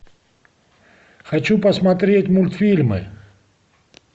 хочу посмотреть мультфильмы